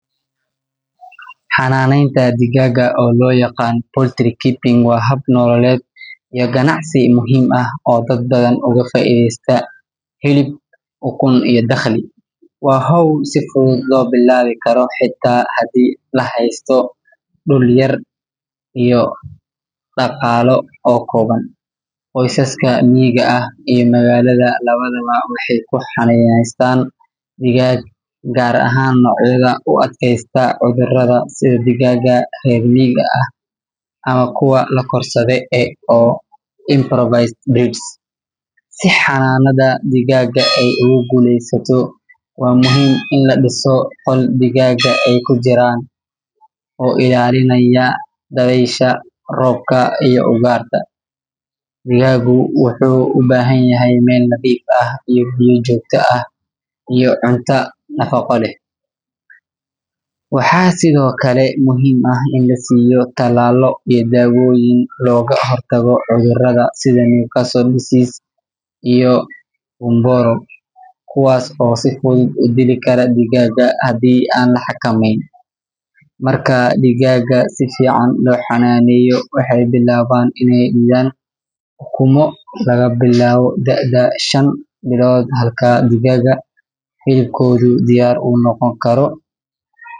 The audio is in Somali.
Xanaaneynta digaagga, oo loo yaqaan poultry keeping, waa hab nololeed iyo ganacsi muhiim ah oo dad badan uga faa’iideysta hilib, ukun, iyo dakhli. Waa hawl si fudud loo bilaabi karo, xitaa haddii la haysto dhul yar iyo ilo dhaqaale oo kooban. Qoysaska miyiga ah iyo magaalada labadaba waxay ka xanaanaystaan digaag, gaar ahaan noocyada u adkaysta cudurrada sida digaagga reer miyiga ah ama kuwa la korsado ee improved breeds. Si xanaanada digaagga ay ugu guulaysato, waa muhiim in la dhiso qol digaagga ay ku jiraan oo ka ilaalinaya dabaysha, roobka, iyo ugaadha. Digaaggu wuxuu u baahan yahay meel nadiif ah, biyo joogto ah, iyo cunto nafaqo leh. Waxaa sidoo kale muhiim ah in la siiyo tallaallo iyo daawooyin looga hortago cudurrada sida Newcastle disease iyo gumboro, kuwaas oo si fudud u dili kara digaagga haddii aan la xakameynin. Marka digaagga si fiican loo xanaaneeyo, waxay bilaabaan inay dhidhaan ukumo laga bilaabo da’da shan bilood, halka digaagga hilibkoodu diyaar u noqon karo.